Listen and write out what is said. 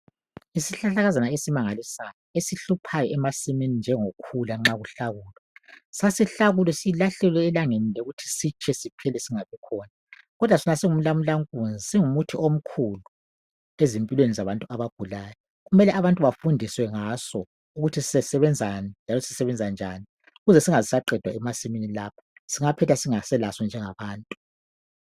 Isihlahlakazana esimangalisayo esihluphayo emasimini njengokhula nxa kuhlakulwa .Sasihlakulwe silahlelwe elangeni le ukuthi sitshe siphele singabikhona .Kodwa sona singumlamula nkunzi singumuthi omkhulu ezimpilweni zabantu abagulayo .Kumele abantu bafundiswe ngaso ukuthi sisebenzani njalo sesebenza njani .Ukuze singaqedwa emasimini lapha .Singaphetha singaselaso njengabantu .